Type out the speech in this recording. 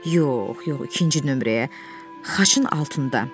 Yox, yox, ikinci nömrəyə, xaçın altında.